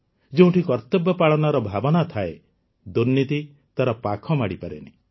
ଯେଉଁଠି କର୍ତ୍ତବ୍ୟ ପାଳନର ଭାବନା ଥାଏ ଦୁର୍ନୀତି ତାର ପାଖ ମାଡ଼ିପାରେନି